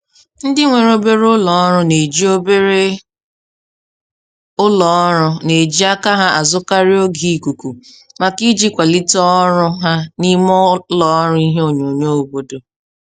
Ndị nwere obere ụlọọrụ n'eji obere ụlọọrụ n'eji aka ha azụkarị oge ikuku maka iji kwalite ọrụ ha n'ime ụlọọrụ ihe onyonyo obodo.